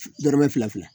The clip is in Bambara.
Dɔrɔmɛ fila fila